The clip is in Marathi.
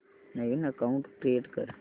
नवीन अकाऊंट क्रिएट कर